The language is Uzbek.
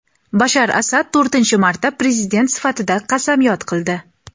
Bashar Asad to‘rtinchi marta prezident sifatida qasamyod qildi.